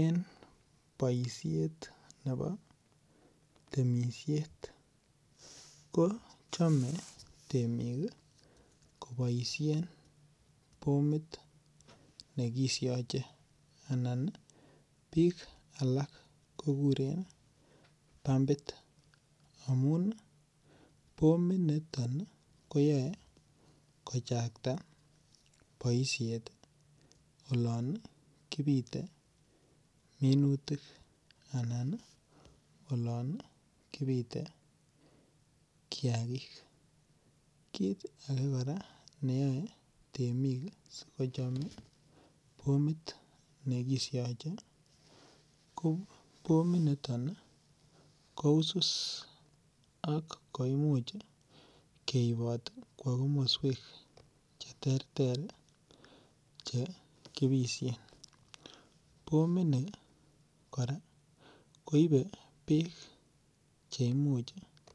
En boisiet nebo temisiet ko chome bik oleo bomit ne kisyoje anan bik akak ko kuren pumbit amun bominoto kochakta boisiet olon kobite minutik anan olon kibite kiagik kit ne yoe si kocham bomit nekisyoche ko bominoto ko usus ak komuich keibot kwo komoswek Che terter Che kibisyen bomini kora bek Che Imuch